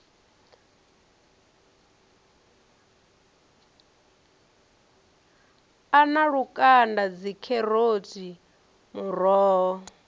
a na lukanda dzikheroti muroho